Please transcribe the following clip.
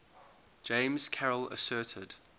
james carroll asserted